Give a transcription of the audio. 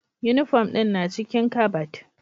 Uniform ɗin na cikin kabad